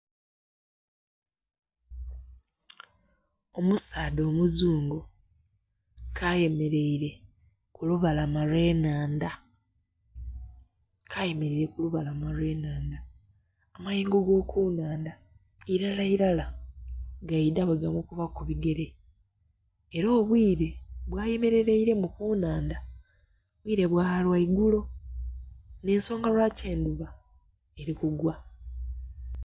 Omusaadha omuzungu ke ayamereire kulubalama olw'enhandha, ke ayemereire kulubalama olw'enhandha amayengo ago ku nnhandha Irala irala gaidha bwegamukuba kubigere era obwire bwayemeraire ku nnhandha bwire bwalwaigulo n'ensonga lwaki endhuba eri kugwa.